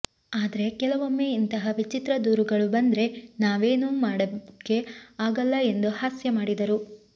ಆದ್ರೆ ಕೆಲವೊಮ್ಮೆ ಇಂಥಹ ವಿಚಿತ್ರ ದೂರುಗಳು ಬಂದ್ರೆ ನಾವೇನೂ ಮಾಡೋಕೆ ಆಗಲ್ಲ ಎಂದು ಹಾಸ್ಯ ಮಾಡಿದರು